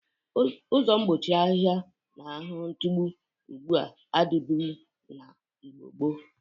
Ụzọ mgbochi ahiha na ahụhụ ntụgbụ ugbụ a adịbụghi n'Igbo gboo.